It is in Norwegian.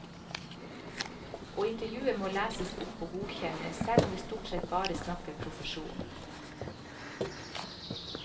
Og intervjuet må leses opp og godkjennes, selv om vi stort sett bare snakker profesjon.